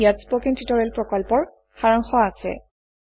ইয়াত spoken tutorial প্ৰকল্পৰ সাৰাংশ আছে